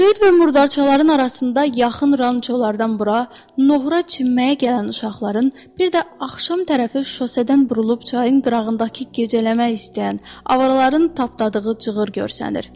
Söyüd və murdarçaların arasında yaxın rançolardan bura nohura çinməyə gələn uşaqların, bir də axşam tərəfi şosesedən burulub çayın qırağındakı gecələmək istəyən avaraların tapdadığı cığır görsənir.